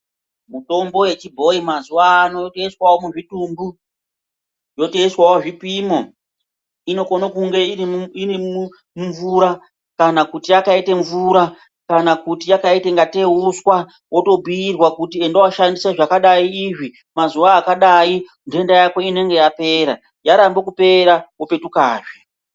Mutombo yechibhoyi mazuwano inoiswawo muzvitumbu yotoiswawo zvipimo. Inokona kunge iri mumvura kana yakaite mvura kana yakaita ngatei uswa, wotobhuirwa kuti enda woshandisa zvakadai izvi mazuwa akadai, nhenda Yako inenge yapera , yarambe kupera wopetukazve.